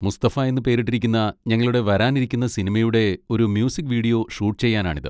മുസ്തഫ' എന്ന് പേരിട്ടിരിക്കുന്ന ഞങ്ങളുടെ വരാനിരിക്കുന്ന സിനിമയുടെ ഒരു മ്യൂസിക് വീഡിയോ ഷൂട്ട് ചെയ്യാനാണിത്.